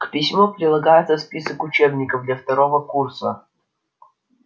к письму прилагается список учебников для второго курса